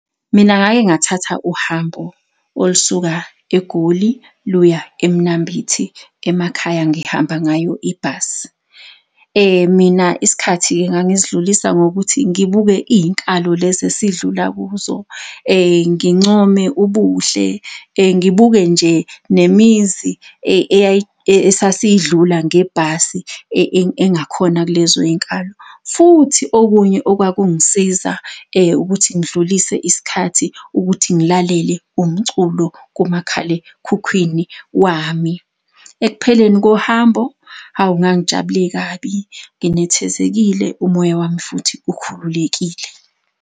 Mina ngake ngathatha uhambo olusuka eGoli luya eMnambithi emakhaya ngihamba ngayo ibhasi. Mina isikhathi ngangisidlulisa ngokuthi ngibuke iy'nkalo lezi esidlula kuzo, ngincome ubuhle, ngibuke nje nemizi esasiyidlula ngebhasi engakhona kulezoy'nkalo. Futhi okunye okwakungisiza ukuthi ngidlulise isikhathi ukuthi ngilalele umculo kumakhalekhukhwini wami. Ekupheleni kohambo, hawu ngangijabule kabi, nginethezekile, umoya wami futhi ukhululekile.